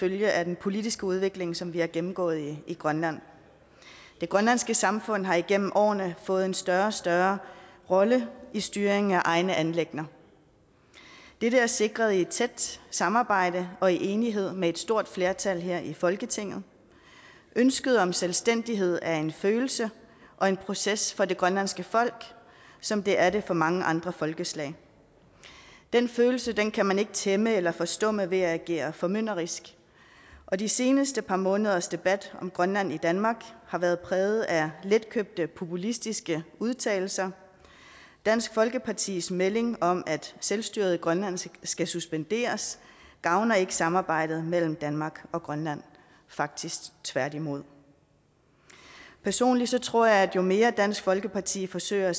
følge af den politiske udvikling som vi har gennemgået i grønland det grønlandske samfund har igennem årene fået en større og større rolle i styringen af egne anliggender dette er sikret i et tæt samarbejde og i enighed med et stort flertal her i folketinget ønsket om selvstændighed er en følelse og en proces for det grønlandske folk som det er det for mange andre folkeslag den følelse kan man ikke tæmme eller at forstumme ved at agere formynderisk og de seneste par måneders debat om grønland i danmark har været præget af letkøbte populistiske udtalelser dansk folkepartis melding om at selvstyret i grønland skal suspenderes gavner ikke samarbejdet mellem danmark og grønland faktisk tværtimod personligt tror jeg at jo mere dansk folkeparti forsøger at